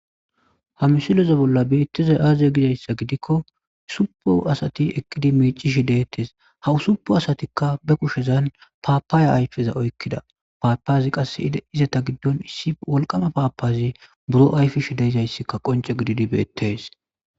Ha misileze bolla beettizay aaziye gizayssa gidikko supo asati eqqidi mecishi deettes hawusupu asatikka be kushezan paapaaya ayfeza oykkida paapazi qasse izeta giddon issi wolqama paapazi buro ayfish deyzayssikka qonce gididi beettes